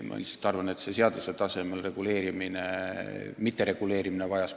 Ma lihtsalt arvan, et eelkõige on tähtis see seaduse tasemel reguleerimine.